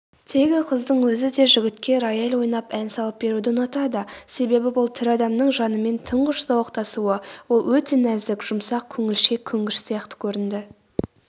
тегі қыздың өзі де жігітке рояль ойнап ән салып беруді ұнатады себебі бұл тірі адамның жанымен тұңғыш зауықтасуы ол өте нәзік жұмсақ көңілшек көнгіш сияқты көрінді